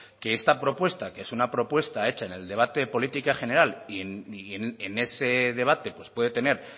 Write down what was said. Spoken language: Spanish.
que esta propuesta que es una propuesta hecha en el debate de política general y en ese debate puede tener